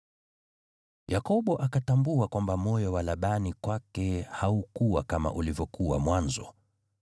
Yakobo akatambua kwamba moyo wa Labani kwake haukuwa kama ulivyokuwa mwanzo.